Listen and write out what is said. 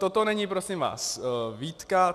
Toto není prosím vás výtka.